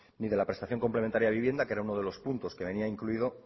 ni de la prestación complementaria de vivienda que era uno de los puntos que venía incluido